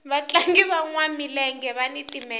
vatlangi vanwa milenge vani timendlele